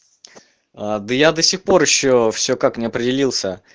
а да я до сих пор ещё все как не определился